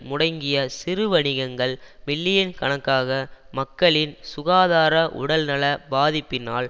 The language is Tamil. முடங்கிய சிறுவணிகங்கள் மில்லியன் கணக்காக மக்களின் சுகாதார உடல்நலப் பாதிப்பினால்